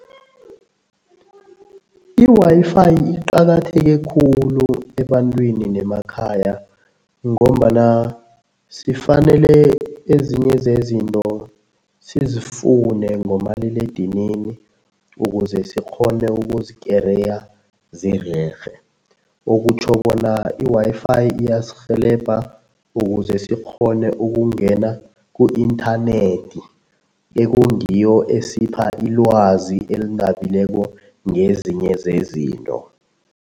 I-Wi-Fi iqakatheke khulu ebantwini nemakhaya ngombana sifanele ezinye zezinto sizifune ngomaliledinini ukuze sikghone ukuzikereya zirerhe, okutjho bona i-Wi-Fi iyasirhelebha ukuze sikghone ukungena ku-internet, ekungiyo esipha ilwazi elinabileko ngezinye zezinto.